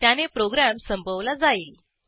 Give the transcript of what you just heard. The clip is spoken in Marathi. त्याने प्रोग्रॅम संपवला जाईल